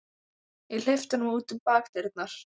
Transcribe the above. Ég hleypti honum út um bakdyrnar.